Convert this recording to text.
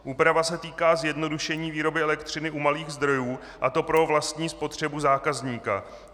Úprava se týká zjednodušení výroby elektřiny u malých zdrojů, a to pro vlastní spotřebu zákazníka.